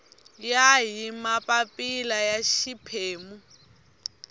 ya hi mapapila ya xiphemu